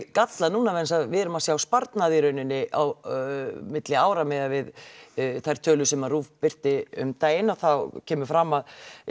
gallað núna vegna þess að við erum að sjá sparnað í rauninni milli ára miðað við þær tölur sem RÚV birti um daginn þá kemur fram að